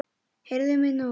Heyrðu mig nú!